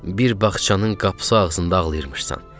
Bir bağçanın qapısı ağzında ağlayırmışsan.